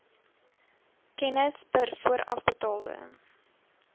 kennis per voorafbetaalde